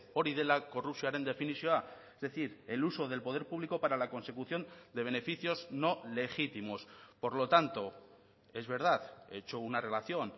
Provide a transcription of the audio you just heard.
hori dela korrupzioaren definizioa es decir el uso del poder público para la consecución de beneficios no legítimos por lo tanto es verdad he hecho una relación